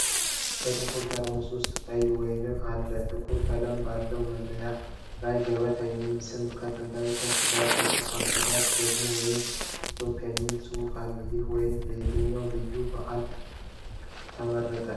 በጥቁር ጠርሙስ ውስጥ ቀይ ወይን አለ። ጥቁር ቀለም ባለው መለያው ላይ "ገበታ" የሚል ስም ከጥንታዊ ቅርጽ ጋር ተጽፏል። ከታች ደግሞ "ወይን ከኢትዮጵያ" የሚል ጽሑፍ አለ። ይህ ወይን ለየትኛው ልዩ በዓል ተመረጠ?